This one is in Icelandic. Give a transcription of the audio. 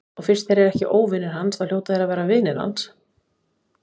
Og fyrst þeir eru ekki óvinir hans þá hljóta þeir að vera vinir hans.